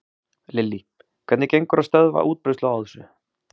Lillý: Hvernig gengur að stöðva útbreiðslu á þessu?